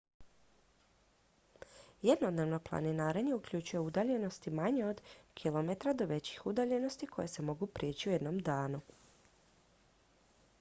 jednodnevno planinarenje uključuje udaljenosti manje od kilometra do većih udaljenosti koje se mogu prijeći u jednom danu